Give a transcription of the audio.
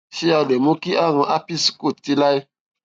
ṣé a lè mú kí àrùn herpes kúrò títí láé